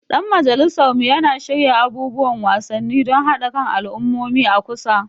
Dan majalisar mu yana shirya abubuwan wasanni don haɗa kan al'ummomi a kusa.